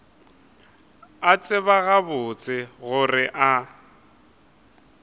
a tseba gabotse gore a